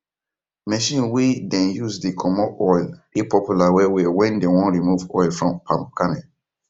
machine we dem use dey comot oil dey popular wellwell wen dem wan remove oil from palm kernel